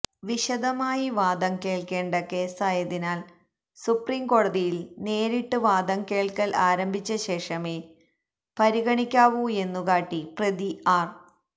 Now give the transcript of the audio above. വിശദമായി വാദം കേൾക്കേണ്ട കേസായതിനാൽ സുപ്രീംകോടതിയിൽ നേരിട്ട് വാദം കേൾക്കൽ ആരംഭിച്ചശേഷമേ പരിഗണിക്കാവൂയെന്നുകാട്ടി പ്രതി ആർ